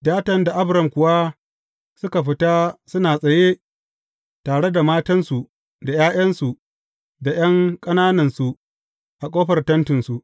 Datan da Abiram kuwa suka fita suna tsaye tare da matansu da ’ya’yansu da ’yan ƙananansu a ƙofar tentinsu.